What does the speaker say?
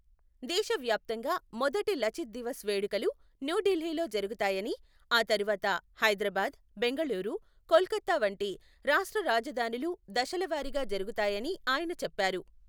దేశవ్యాప్తంగా మొదటి 'లచిత్ దివస్' వేడుకలు న్యూఢిల్లీలో జరుగుతాయని, ఆ తర్వాత హైదరాబాద్, బెంగళూరు, కోల్కతా వంటి రాష్ట్ర రాజధానులు దశలవారీగా జరుగుతాయని ఆయన చెప్పారు.